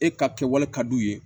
E ka kɛwale ka d'u ye